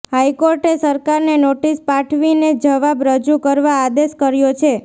હાઇકોર્ટે સરકારને નોટિસ પાઠવીને જવાબ રજૂ કરવા આદેશ કર્યો છે